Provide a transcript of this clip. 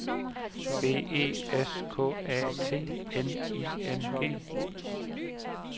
B E S K A T N I N G